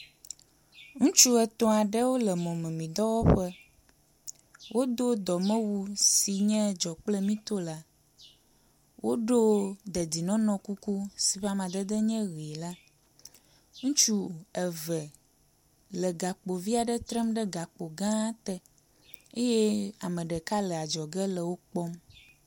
Ŋutsu etɔ̃ aɖe le mɔmemidɔwɔƒe. Wodo dɔmewu yi ke nye dzɔkplemito la. Woɖo dedienɔnɔ kuku si ƒe amadede nye ʋi la. Ŋutsu eve le gakpo vi aɖe trem ɖe gakpo gã te eye ame ɖeka le adzɔge le wo kpɔm.